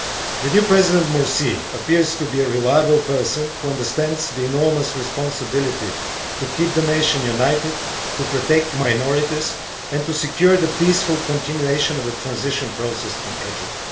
The new President Morsi appears to be a reliable person who understands the enormous responsibility to keep the nation united, to protect minorities and to secure the peaceful continuation of the transition process in Egypt.